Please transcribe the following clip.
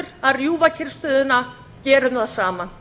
að rjúfa kyrrstöðuna gerum það saman